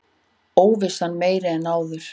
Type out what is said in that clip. Óvissan meiri en áður